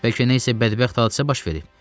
Bəlkə nə isə bədbəxt hadisə baş verib.